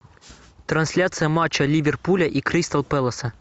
трансляция матча ливерпуля и кристал пэласа